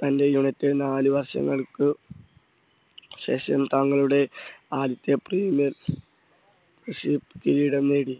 തൻറെ യുണൈറ്റഡ് നാല് വർഷങ്ങൾക്ക് ശേഷം തങ്ങളുടെ ആദ്യത്തെ പ്രീമിയർ കിരീടം നേടി.